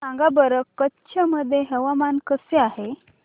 सांगा बरं कच्छ मध्ये हवामान कसे आहे